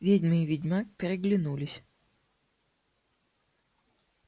ведьма и ведьмак переглянулись